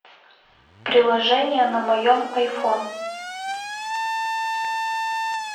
приложение на моем айфон